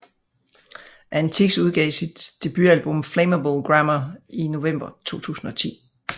Antix udgav sit debutalbum Flammable Grammar i november 2010